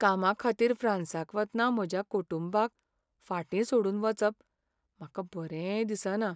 कामाखातीर फ्रांसाक वतना म्हज्या कुटुंबाक फाटीं सोडून वचप म्हाका बरें दिसना.